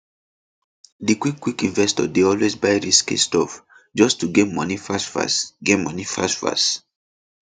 di quickquick investor dey always buy risky stock just to get money fastfast get money fastfast